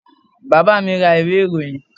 Bàbá mi ra ìwé ìròyìn.